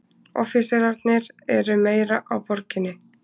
Offíserarnir eru meira á Borginni.